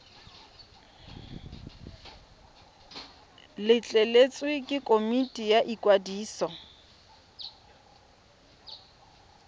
letleletswe ke komiti ya ikwadiso